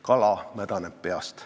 Kala mädaneb peast.